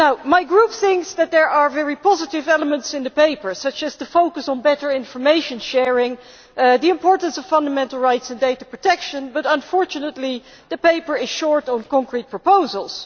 My Group thinks that there are very positive elements in the paper such as the focus on better information sharing and the importance of fundamental rights and data protection but unfortunately the paper is short on concrete proposals.